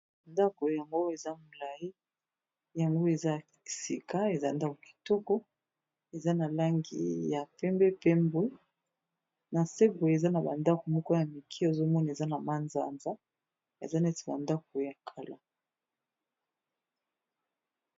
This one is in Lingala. Ndako yango eza molayi yango eza sika eza ndako kitoko eza na langi ya pembe pe mbwe na se boye eza na ba ndako moko ya mike ozomoni eza na manzanza eza neti ba ndako ya kala.